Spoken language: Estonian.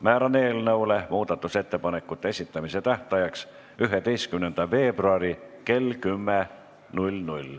Määran eelnõu muudatusettepanekute esitamise tähtajaks 11. veebruari kell 10.